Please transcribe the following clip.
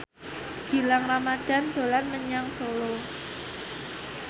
Gilang Ramadan dolan menyang Solo